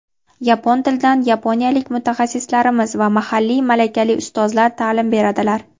Yapon tilidan yaponiyalik mutaxassislarimiz va mahalliy malakali ustozlar ta’lim beradilar.